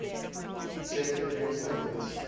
shepherd moon's orbit